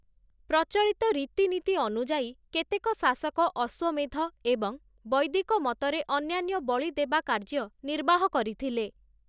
ପ୍ରଚଳିତ ରୀତିନୀତି ଅନୁଯାୟୀ, କେତେକ ଶାସକ ଅଶ୍ୱମେଧ ଏବଂ ବୈଦିକ ମତରେ ଅନ୍ୟାନ୍ୟ ବଳିଦେବା କାର୍ଯ୍ୟ ନିର୍ବାହ କରିଥିଲେ ।